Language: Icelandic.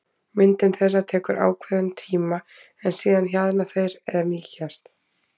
Myndun þeirra tekur ákveðinn tíma en síðan hjaðna þeir eða mýkjast.